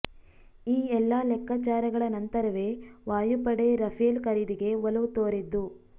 ಈ ಎಲ್ಲ ಲೆಕ್ಕಾಚಾರಗಳ ನಂತರವೇ ವಾಯುಪಡೆ ರಫೇಲ್ ಖರೀದಿಗೆ ಒಲವು ತೋರಿದ್ದು